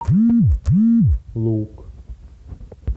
лук